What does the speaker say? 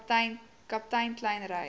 kaptein kleyn ry